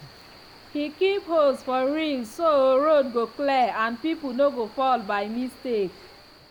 he keep hose for reel so road go clear and people no go fall by mistake.